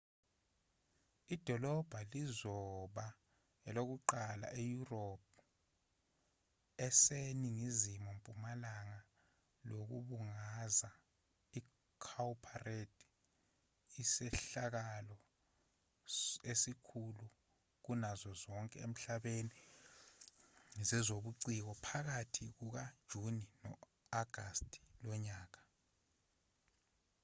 idolobha lizoba elokuqala eyurophu eseningizimu mpumalanga lokubungaza icowparade isehlakalo esikhulu kunazo zonke emhlabeni zezobuciko phakathi kukajuni no-agasti kulonyaka